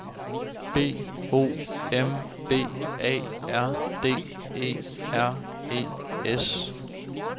B O M B A R D E R E S